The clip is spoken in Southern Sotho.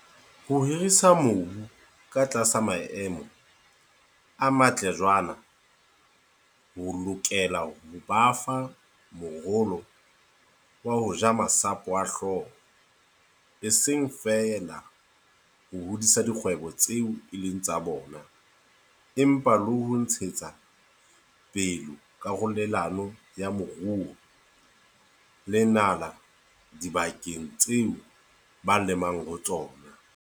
Ho hirisa mobu ka tlasa maemo a matle jwaana ho lokela ho ba fa morolo wa ho ja masapo a hlooho, e seng feela ho hodisa dikgwebo tseo e leng tsa bona empa le ho ntshetsa pele karolelano ya moruo le nala dibakeng tseo ba lemang ho tsona.